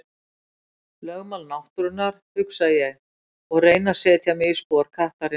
Lögmál náttúrunnar, hugsa ég og reyni að setja mig í spor kattarins.